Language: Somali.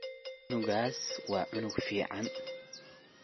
Cunugas wa cunug ficn.